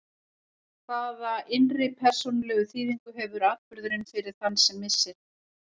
Hvaða innri persónulegu þýðingu hefur atburðurinn fyrir þann sem missir?